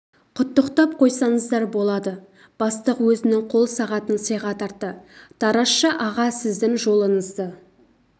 құттықтап қойсаңыздар болады бастық өзінің қол сағатын сыйға тартты таразша аға сіздің жолыңызды